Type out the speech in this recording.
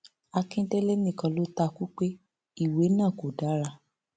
akíndélé nìkan ló ta kú pé ìwé náà kò dára